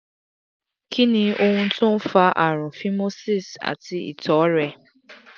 kí ni ohun tó ń fa àrùn phimosis àti ìtọ̀rẹ?